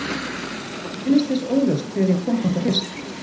Ég minnist þess óljóst þegar ég kom þangað fyrst.